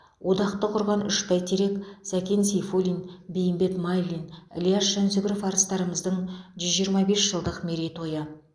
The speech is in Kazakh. одақты құрған үш бәйтерек сәкен сейфуллин бейімбет майлин ілияс жансүгіров арыстарымыздың жүз жиырма бес жылдық мерейтойы